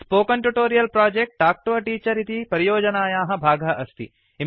spoken Tutorial project Talk to a Teacher इति परियोजनायाः भागः अस्ति